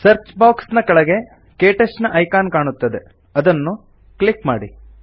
search box ನ ಕೆಳಗೆ ಕೆಟಚ್ ನ ಐಕಾನ್ ಕಾಣುತ್ತದೆ ಅದನ್ನು ಕ್ಲಿಕ್ ಮಾಡಿ